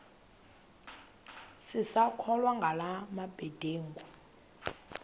sisakholwa ngala mabedengu